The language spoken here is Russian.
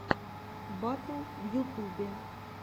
батл в ютубе